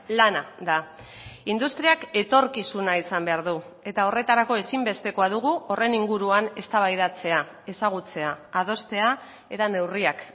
lana da industriak etorkizuna izan behar du eta horretarako ezinbestekoa dugu horren inguruan eztabaidatzea ezagutzea adostea eta neurriak